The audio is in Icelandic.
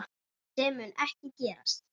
Sem mun ekki gerast.